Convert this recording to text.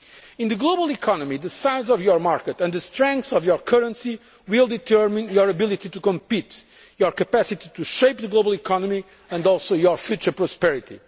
ties. In the global economy, the size of your market and the strength of your currency will determine your ability to compete, your capacity to shape the global economy and also your future prosperity.